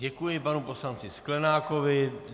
Děkuji panu poslanci Sklenákovi.